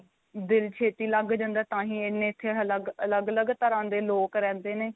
ਦਿਲ ਛੇਤੀ ਲੱਗ ਜਾਂਦਾ ਤਾਹੀ ਇੰਨੇ ਇੱਥੇ ਅਲੱਗ ਅਲੱਗ ਤਰ੍ਹਾਂ ਦੇ ਲੋਕ ਰਹਿੰਦੇ ਨੇ